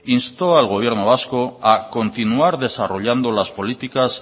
instó al gobierno vasco a continuar desarrollando las políticas